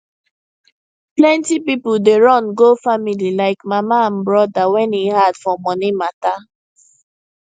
plenty people dey run go family like mama and brother when e hard for money matter